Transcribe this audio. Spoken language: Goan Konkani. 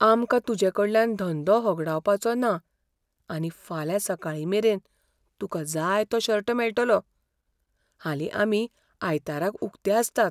आमकां तुजेकडल्यान धंदो होगडावपाचो ना आनी फाल्यां सकाळीमेरेन तुका जाय तो शर्ट मेळटलो. हालीं आमी आयताराक उकते आसतात.